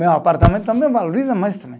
Meu apartamento também valoriza mais também.